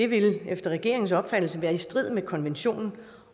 vil efter regeringens opfattelse være i strid med konventionen